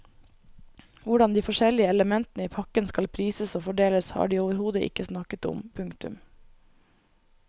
Hvordan de forskjellige elementene i pakken skal prises og fordeles har de overhodet ikke snakket om. punktum